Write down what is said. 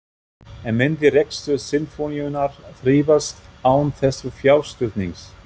En myndi rekstur Sinfóníunnar þrífast án þessa fjárstuðnings?